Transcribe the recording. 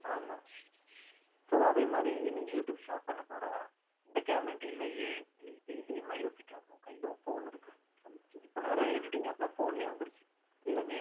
ஆமா so அதே மாதிரி நீ யூடுயூப் start பண்ணப் போற இந்த cam என்கிட்ட இல்லையே இல்ல இது இல்லையேன்னு எல்லாம் யோசிக்காம உன் கையில உன் போன் இருக்கு இப்ப நிறைய editing app லாம் phone லயே வந்துருச்சு